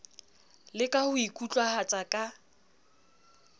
le ka ho ikutlwahatsa ka